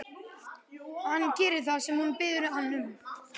Hann gerir það sem hún biður hann um.